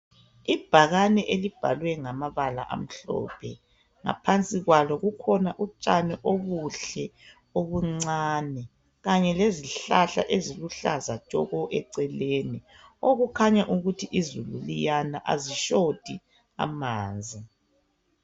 Ibhakane elibhalwe ngamabala amhlophe, ngaphansi kwalo kukhona utshani obuhle obuncane kanye lezihlahla eziluhlaza tshoko eceleni okukhanya ukuthi izulu liyana azishoti amanzi.